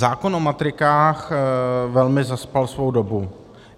Zákon o matrikách velmi zaspal svou dobu.